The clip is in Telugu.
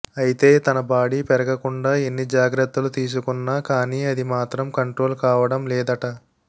అయితే తన బాడీ పెరగకుండా ఎన్ని జాగ్రత్తలు తీసుకున్న కానీ అది మాత్రం కంట్రోల్ కావడం లేదట